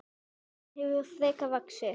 Hún hefur frekar vaxið.